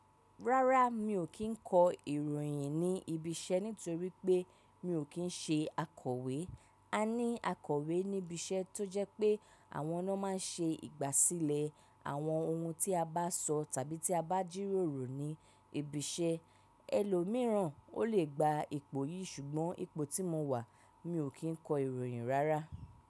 Rárá mi ò kí ń kọ ìròyìn ní ibi iṣẹ́ nítorí pé mi ò kí ń ṣe akọ̀wé. A ní akọ̀wé níbi iṣẹ́ tó jẹ́ pé àwọn na máa ń ṣe ìgbàsílẹ̀ àwọn ohun tí a bá sọ tàbí tí a bá jíròrò ní ibi iṣẹ́. Ẹlòmíìràn o le gba ipò yìí ṣùgbọ́n ipò tí mo wà mi ò kí ń kọ ìròyìn rárá.